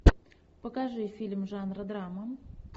покажи фильм жанра драма